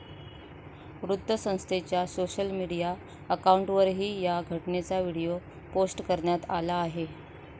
वृत्तसंस्थेच्या social media अकाऊंटवरुनही या घटनेचा व्हिडीओ पोस्ट करण्यात आला आहे.